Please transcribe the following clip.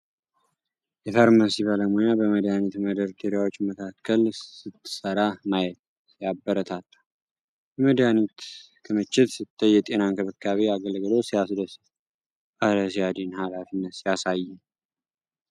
የፋርማሲ ባለሙያ በመድኃኒት መደርደሪያዎች መካከል ስትሰራ ማየት ሲያበረታታ ! የመድኃኒት ክምችት ስታይ፣ የጤና እንክብካቤ አገልግሎት ሲያስደስት! እረ ሲያድን! ኃላፊነት ሲያሳየን!